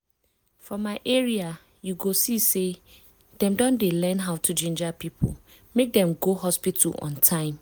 for my area you go see say dem don dey learn how to ginger people make dem go hospital on time.